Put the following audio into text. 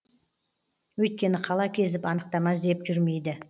өйткені қала кезіп анықтама іздеп жүрмейді